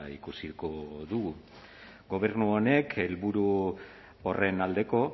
ikusiko dugu gobernu honek helburu horren aldeko